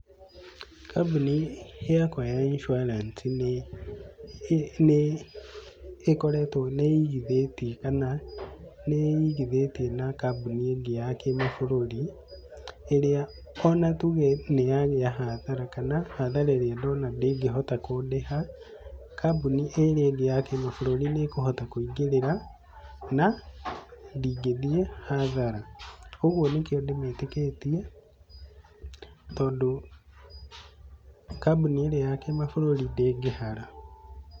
Kambuni yakwa ya insurance nĩ nĩ ĩkoretwo, nĩ igithĩtie kana nĩ ĩigithĩtie na kambuni ĩngĩ ya kĩmabũrũri, ĩrĩa o na tuge nĩ yagĩa hathara kana hathara ĩrĩa ndona ndĩngĩhota kũndĩha, kambuni ĩrĩa ĩngĩ ya kĩmabũrũri nĩ ĩkũhota kũingĩrĩra na ndingĩthiĩ hathara. koguo nĩkĩo ndĩmĩĩtĩkĩtie tondũ kambuni ĩrĩa ya kĩmabũrũri ndĩngĩhara.